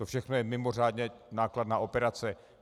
To všechno je mimořádně nákladná operace.